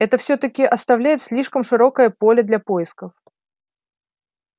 это всё-таки оставляет слишком широкое поле для поисков